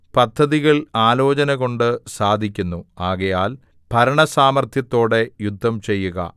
പദ്ധതികൾ ആലോചനകൊണ്ട് സാധിക്കുന്നു ആകയാൽ ഭരണസാമർത്ഥ്യത്തോടെ യുദ്ധം ചെയ്യുക